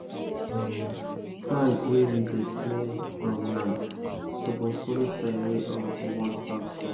the time wey you dey clear land suppose follow time wey you wan plant crop